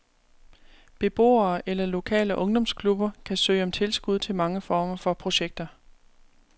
Beboere eller lokale ungdomsklubber kan søge om tilskud til mange former for projekter.